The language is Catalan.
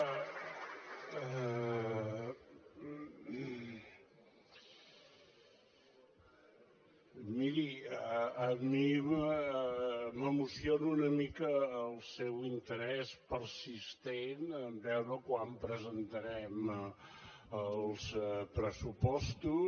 miri a mi m’emociona una mica el seu interès persistent a veure quan presentarem els pressupostos